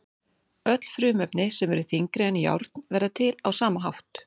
Öll frumefni sem eru þyngri en járn verða til á sama hátt.